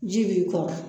Ji b'i kɔrɔ